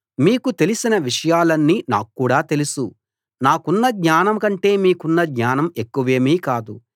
మీకు తెలిసిన విషయాలన్నీ నాక్కూడా తెలుసు నాకున్న జ్ఞానం కంటే మీకున్న జ్ఞానం ఎక్కువేమీ కాదు